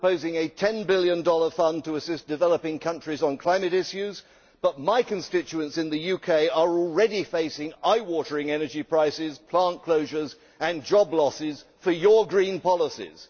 We are proposing a USD 10 billion fund to assist developing countries on climate issues, but my constituents in the UK are already facing eye watering energy prices, plant closures and job losses for your green policies.